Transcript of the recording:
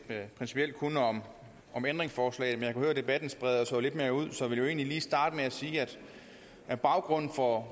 principielt kun om ændringsforslagene høre at debatten spreder sig lidt mere ud så jeg vil egentlig lige starte med at sige at baggrunden for